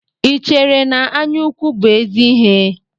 Ị chere na anya ukwu bụ ézì ihe?